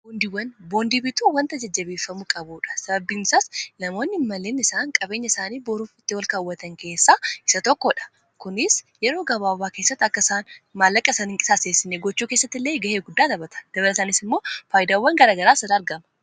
Boondii bituu wanta jajjabeeffamuu qabuudha. Sababbi isaas namoonni n mallinni isaan qabeenya isaanii boruuf itti wal kaawwatan keessaa isa tokkoo dha kunis yeroo gabaawaa kessatti akka isaan maallaqa isaani qisaaseessine gochuu keessatti illee ga'ee guddaa tabata dabara isaaniis immoo faayidawwan garagaraa argama.